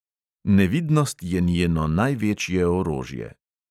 Nevidnost je njeno največje orožje.